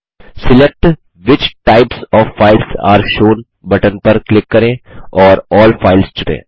select which types of files are shown button पर click करें और अल्ल फाइल्स चुनें